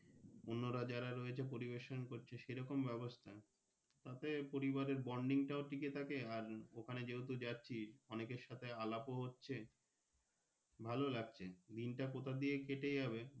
অন্যরা যারা রয়েছে পরিবেশন করছে সে রকম ব্যবস্থা তাতেও তাদের পরিবারের Bonding টা ঠিক থাকে আর ওখানে যেহুতু যাচ্ছি অনেকের সাথে আলাপও হচ্ছে ভালো লাগছে দিনটা কথা দিয়ে কেটে যাবে।